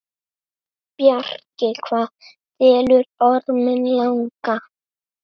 Bjarki, hvað dvelur Orminn langa?